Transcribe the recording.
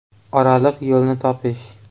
“Oraliq yo‘lni topish”.